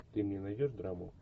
ты мне найдешь драму